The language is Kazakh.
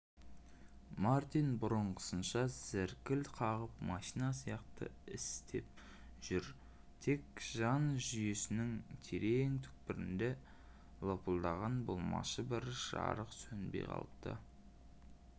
мартин бұрынғысынша зіркіл қағып машина сияқты істеп жүр тек жан жүйесінің терең түкпірінде лыпылдаған болмашы бір жарық сөнбей қалыпты